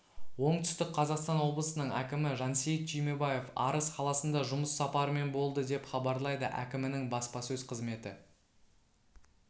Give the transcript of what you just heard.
оңтүстік қазақстан облысының әкімі жансейіт түймебаев арыс қаласында жұмыс сапарымен болды деп хабарлайды әкімінің баспасөз қызметі